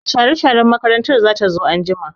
Mai share-sharen makaranta zata zo anjima.